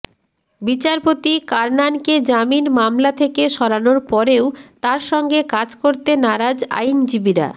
বিচারপতি কারনানকে জামিন মামলা থেকে সরানোর পরেও তাঁর সঙ্গে কাজ করতে নারাজ আইনজীবীরা